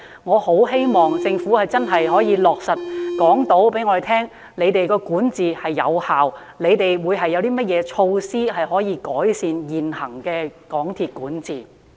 我十分希望政府能夠真正告訴我們，港鐵公司的管治是有效的，以及有何措施能夠改善其現行的管治。